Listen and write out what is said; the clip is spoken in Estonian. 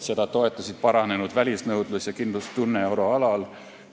Seda toetasid paranenud välisnõudlus ja kindlustunne euroalal.